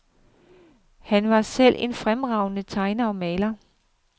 Han var selv en fremragende tegner og maler.